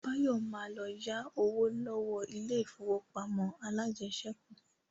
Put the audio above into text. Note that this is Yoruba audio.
Báyọ̀ ma lọ yá owó lọ́wọ́ ilé ìfowópamọ́ alájẹsẹ́kù